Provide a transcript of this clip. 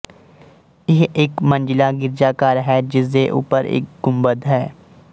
ਇਹ ਇੱਕ ਮੰਜ਼ਿਲਾ ਗਿਰਜਾਘਰ ਹੈ ਜਿਸਦੇ ਉੱਪਰ ਇੱਕ ਗੁੰਬਦ ਹੈ